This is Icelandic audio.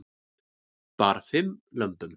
Bar fimm lömbum